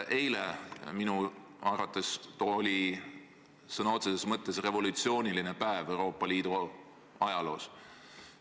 Eile oli minu arvates sõna otseses mõttes revolutsiooniline päev Euroopa Liidu ajaloos.